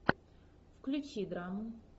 включи драму